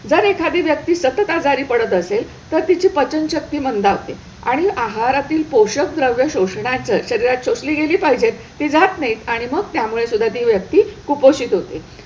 जर एखादी व्यक्ती सतत आजारी पडत असेल तर तिची पचनशक्ती मंदावते आणि आहारातील पोषक द्रव्य शोषण्याचं शरीरात शोषली गेली पाहिजेत ती जात नाहीत आणि मग त्यामुळे सुद्धा ती व्यक्ती कुपोषित होते.